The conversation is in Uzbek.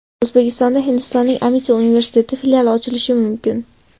O‘zbekistonda Hindistonning Amiti universiteti filiali ochilishi mumkin.